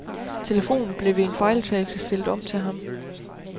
Telefonen blev ved en fejltagelse stillet om til ham.